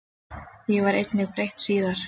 Því var einnig breytt síðar.